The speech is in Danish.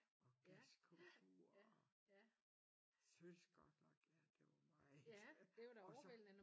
Og gaskomfur og syntes godt nok at det var meget og så